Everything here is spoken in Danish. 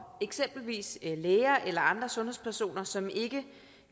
eksempelvis læger eller andre sundhedspersoner som ikke